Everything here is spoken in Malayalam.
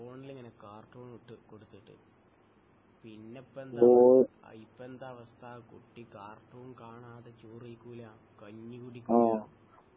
ഫോണിൽ ഇങ്ങനെ കാർട്ടൂൺ ഇട്ട് കൊടുത്തിട്ട് പിന്നെപ്പന്താ ഇപ്പൊന്താ അവസ്ഥ കുട്ടി കാർട്ടൂൺ കാണാതെ ചോറയ്‌ക്കൂല കഞ്ഞി കുടിക്കൂല